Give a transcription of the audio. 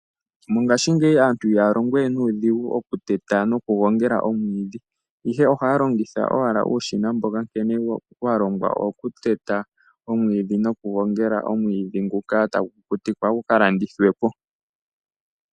Mongashingeyi aantu ihayalongowe nuudhigu okuteta nokugongela omwiidhi, ihe ohayalongitha owala uushina mboka nkene walongwa owo kuteta nokugongela omwiidhi go tagukukutikwa guka landithwepo.